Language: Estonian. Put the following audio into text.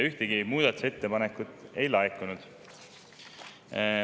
Ühtegi muudatusettepanekut ei laekunud.